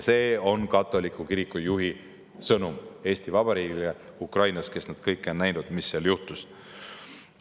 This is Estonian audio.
See on Ukraina katoliku kiriku juhi sõnum Eesti Vabariigile, ja nemad on näinud kõike, mis seal juhtunud on.